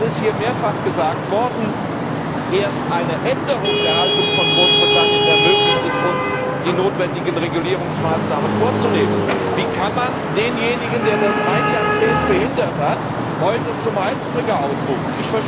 Es ist hier mehrfach gesagt worden, erst eine Änderung der Haltung von Großbritannien ermöglicht es uns, die notwendigen Regulierungsmaßnahmen vorzunehmen. Wie kann man denjenigen, der das ein Jahrzehnt behindert hat, heute zum Heilsbringer ausrufen?